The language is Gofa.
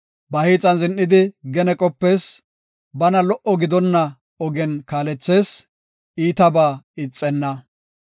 Ba hiixan zin7idi gene qopees; bana lo77o gidonna ogen kaalethees; iitabaa ixenna.